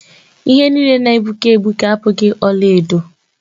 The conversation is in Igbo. Ihe niile na-egbuke egbuke abụghị ọlaedo.